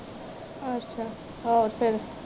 ਅੱਛਾ ਆਹੋ ਫਿਰ